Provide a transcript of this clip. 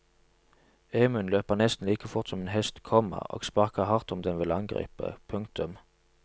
Emuen løper nesten like fort som en hest, komma og sparker hardt om den vil angripe. punktum